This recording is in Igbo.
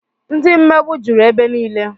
Ndị mmegbu jụrụ ebe niile